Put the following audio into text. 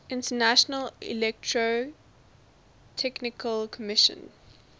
international electrotechnical commission